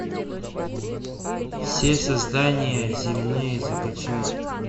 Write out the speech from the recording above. все создания земные закачай